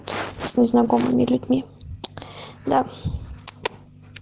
с незнакомыми людьми да